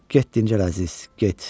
Get dincəl əziz, get.